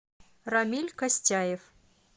рамиль костяев